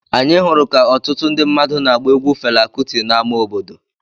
Anyị hụrụ ka ọtụtụ ndị mmadụ na-agba egwu Fela Kuti n’ámá obodo.